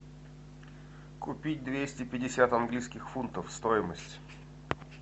купить двести пятьдесят английских фунтов стоимость